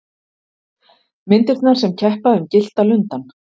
Myndirnar sem keppa um Gyllta lundann